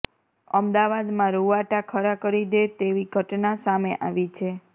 અમદાવાદમાં રૂવાટા ખડા કરી દે તેવી ઘટના સામે આવી છે